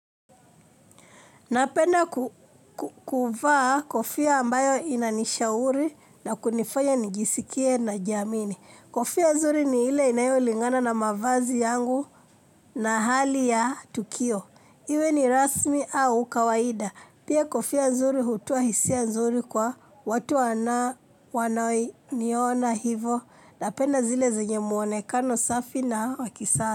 Napenda kuku kuvaa kofia ambayo inanishauri na kunifanya nijisikie najiamini. Kofia nzuri ni ile inayolingana na mavazi yangu na hali ya tukio. Iwe ni rasmi au kawaida. Pia kofia nzuri hutoa hisia nzuri kwa watu wana wanaoniona hivo. Napenda zile zenye muonekano safi na wakisa.